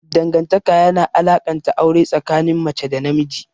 Dangantaka yana alakanta aure tsakanin mace da namiji.